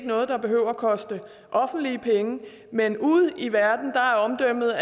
noget der behøver at koste offentlige penge men ude i verden er omdømmet